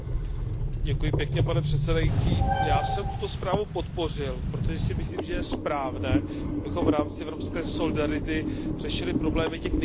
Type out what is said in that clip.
Pane přesedající, já jsem tuto zprávu podpořil, protože si myslím, že je správné, abychom v rámci evropské solidarity řešili problémy těch nejchudších regionů.